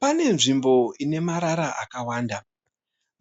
Pane nzvimbo ine marara akawanda.